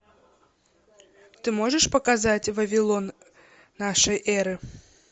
ты можешь показать вавилон нашей эры